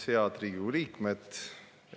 Head Riigikogu liikmed!